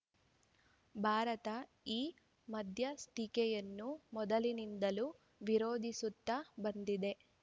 ಭಾರತ ಈ ಮಧ್ಯಸ್ಥಿಕೆಯನ್ನು ಮೊದಲಿನಿಂದಲೂ ವಿರೋಧಿಸುತ್ತಾ ಬಂದಿದೆ